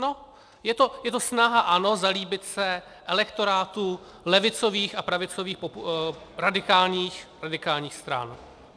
No, je to snaha ANO zalíbit se elektorátu levicových a pravicových radikálních stran.